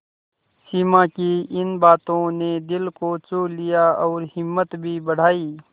सिमा की इन बातों ने दिल को छू लिया और हिम्मत भी बढ़ाई